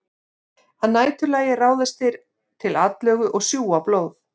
Að næturlagi ráðast þeir til atlögu og sjúga blóð.